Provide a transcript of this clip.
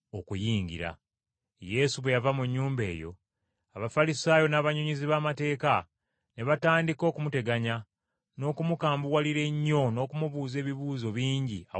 Yesu bwe yava mu nnyumba eyo, Abafalisaayo n’abannyonnyozi b’amateeka ne batandika okumuteganya n’okumukambuwalira ennyo n’okumubuuza ebibuuzo bingi awatali kusalako,